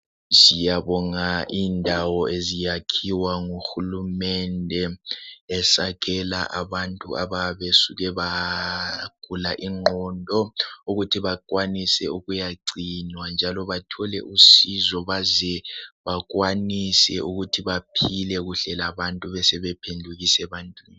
Siyabonga indawo eziyakhiwa nguhulumende esakhela abantu abasuke bagula ingqondo esakhela ukuthi bakwanise ukuyagcinwa njalo bathole usizo baze bakwanise ukuthi baphile kahle labantu besebe phendukiswa ebantwini.